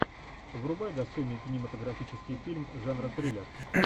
врубай достойный кинематографический фильм жанра триллер